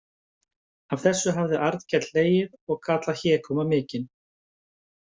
Að þessu hafði Arnkell hlegið og kallað hégóma mikinn.